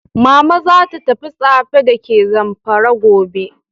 Mama zata tafi Tsafe dake zamfara gobe.